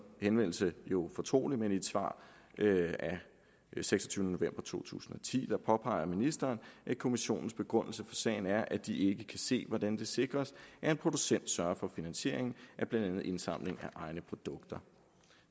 henvendelse jo fortrolig men i et svar af seksogtyvende november to tusind og ti påpeger ministeren at kommissionens begrundelse for sagen er at de ikke kan se hvordan det sikres at en producent sørger for finansieringen af blandt andet indsamling af egne produkter